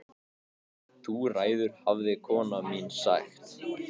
Þú ræður hafði kona mín sagt.